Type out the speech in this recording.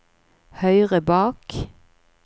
høyre bak